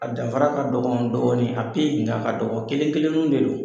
A danfara ka dɔgɔn dɔɔni, a sen da ka dɔgɔn. Kelen kelenninw de don.